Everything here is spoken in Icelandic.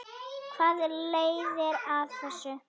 Hvað leiðir af þessu?